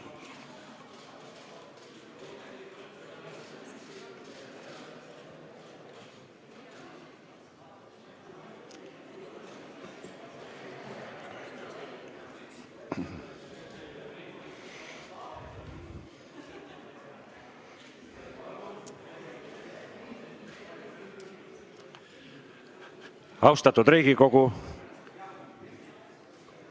Austatud Riigikogu!